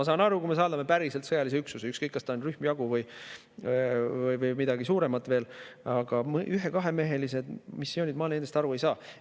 Ma saan aru, kui me saadame päriselt sõjaväelise üksuse, ükskõik kas see on rühm, jagu või midagi veel suuremat, aga ühe- ja kahemehelistest missioonidest ma aru ei saa.